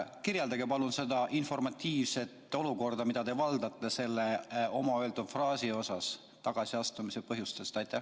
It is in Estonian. Kirjeldage palun seda informatiivset olukorda, mida te valdate selle enda öeldud fraasi osas tagasiastumise põhjuste kohta.